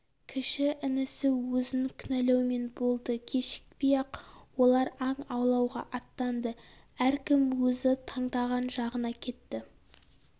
кіші інісі өзін кінәлаумен болды кешікпей ақ олар аң аулауға аттанды әркім өзі таңдаған жағына кетті